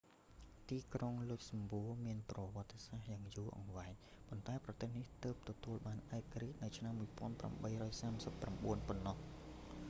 ទីក្រុង លុចសំបួរ មានប្រវត្តិសាស្រ្តយ៉ាងយូរអង្វែង ប៉ុន្តែប្រទេសនេះទើបទទួលបានឯករាជ្យនៅឆ្នាំ1839 ប៉ុណ្ណោះ